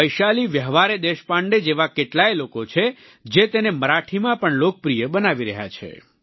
વૈશાલી વ્યવહારે દેશપાંડે જેવા કેટલાય લોકો છે જે તેને મરાઠીમાં પણ લોકપ્રિય બનાવી રહ્યા છે